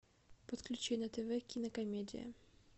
подключи на тв кинокомедия